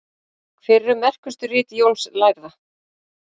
Hver eru merkustu rit Jóns lærða?